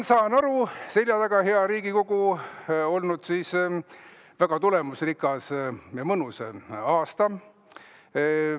Saan aru, et teil on, hea Riigikogu, seljataga väga tulemusrikas ja mõnus aasta.